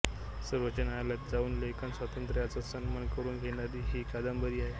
सर्वोच्च न्यायालयात जाऊन लेखन स्वातंत्र्याचा सन्मान करून घेणारी ही कादंबरी आहे